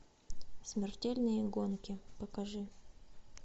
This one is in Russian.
смертельные гонки покажи